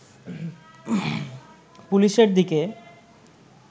পুলিশের দিকে